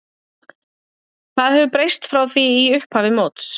Hvað hefur breyst frá því í upphafi móts?